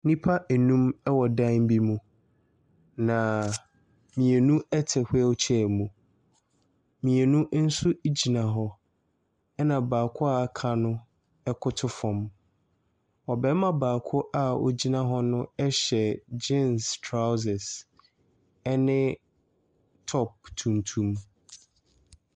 Nnipa nnum wɔ dan bi mu, naaa mmienu te wheelchair mu, mmienu nso gyina hɔ, ɛna baako a aka no koto fam. Ɔbarima baako a ɔgyina hɔ no hyɛ geans trousers ne top tuntum.